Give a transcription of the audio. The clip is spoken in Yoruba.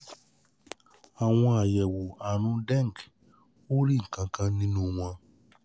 Àwọn àyẹ̀wò àrùn dengue ò rí nǹkan kan nínú wọn